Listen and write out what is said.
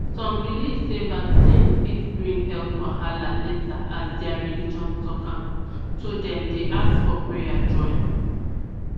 some believe sey vaccine fit bring health wahala later as their religion talk am so dem dey ask of prayer join